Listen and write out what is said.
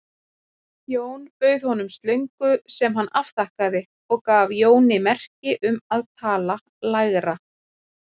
Jón bauð honum slöngu sem hann afþakkaði og gaf Jóni merki um að tala lægra.